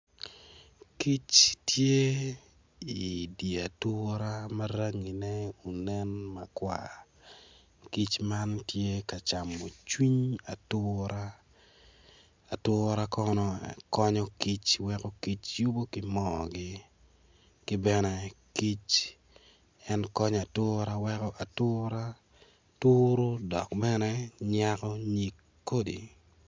Kic tye idye ature ma rangi ne onen makwar kic man tye ka camo cwiny atura, atura kono konyo kic weko kic yubo ki moogi ki bene en ki konyo ature weko atura turu dok bene nyako nyig kodi